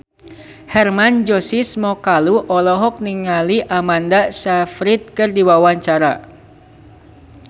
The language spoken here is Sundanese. Hermann Josis Mokalu olohok ningali Amanda Sayfried keur diwawancara